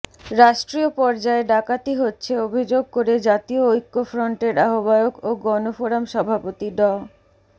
রাষ্ট্রীয় পর্যায়ে ডাকাতি হচ্ছে অভিযোগ করে জাতীয় ঐক্যফ্রন্টের আহ্বায়ক ও গণফোরাম সভাপতি ড